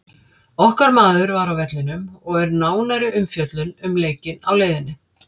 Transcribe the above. Okkar maður var á vellinum og er nánari umfjöllun um leikinn á leiðinni.